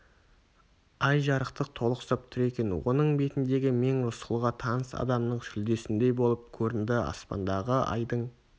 ай жарықтық толықсып тұр екен оның бетіндегі мең рысқұлға таныс адамның сүлдесіндей болып көрінді аспандағы айдың